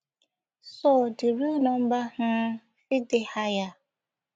so di real number um fit dey higher